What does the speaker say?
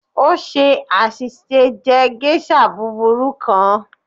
O ṣe aṣiṣe jẹ geisha buburu kan.